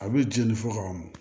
A bɛ jeni fo k'a mɔn